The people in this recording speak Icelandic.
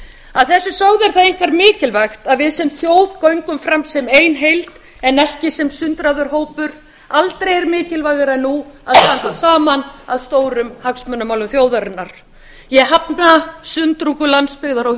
að þessu sögðu er það einkar mikilvægt að við sem þjóð göngum fram sem ein heild en ekki sem sundraður hópur aldrei er mikilvægara en nú að standa saman að stórum hagsmunamálum þjóðarinnar ég hafna sundrungu landsbyggðar og